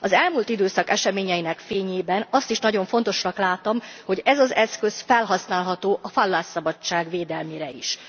Az elmúlt időszak eseményeinek fényében azt is nagyon fontosnak látom, hogy ez az eszköz felhasználható a vallásszabadság védelmére is.